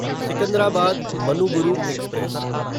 Secunderabad Manuguru express